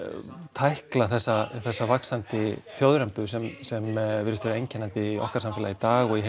tækla þessa þessa vaxandi þjóðrembu sem sem virðist vera einkennandi í okkar samfélagi í dag og í